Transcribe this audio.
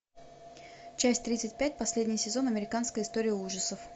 часть тридцать пять последний сезон американская история ужасов